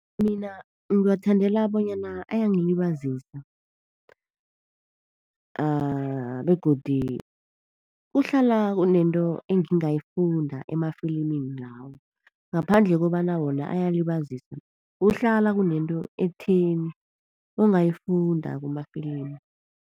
Mina ngiwathandela bonyana ayangilibazisa, begodu kuhlala kunento engingayifunda emafilimini lawo. Ngaphandle kobana wona ayalibazisa kuhlala kunento ekutheni ongayifunda kumafilimu.